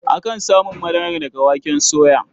Akan samun madara daga waken soya.